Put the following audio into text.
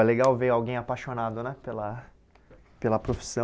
É legal ver alguém apaixonado né pela pela profissão.